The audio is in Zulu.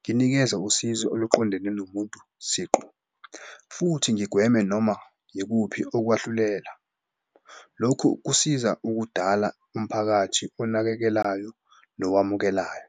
nginikeze usizo oluqondene nomuntu siqu futhi ngigweme noma yikuphi okwahlulela. Lokhu kusiza ukudala umphakathi onakekelayo nowamukelayo.